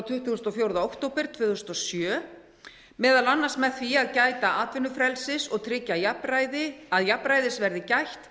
tuttugasta og fjórða október tvö þúsund og sjö meðal annars með því að gæta atvinnufrelsis og tryggja að jafnræðis verði gætt